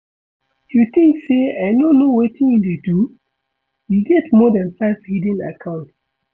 You think say I no know wetin you dey do? You get more dan five hidden accounts